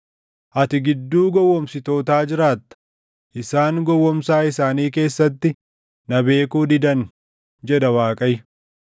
Ati gidduu gowwoomsitootaa jiraatta; isaan gowwoomsaa isaanii keessatti na beekuu didan” jedha Waaqayyo.